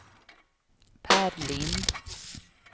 Per Lind